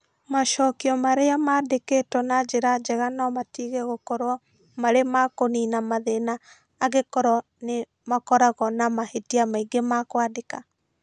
Macokio marĩa mandĩkĩtwo na njĩra njega no matige gũkorũo marĩ ma kũniina mathĩna angĩkorũo nĩ makoragwo na mahĩtia maingĩ ma kwandĩka.